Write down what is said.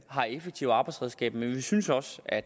har effektive arbejdsredskaber men vi synes også at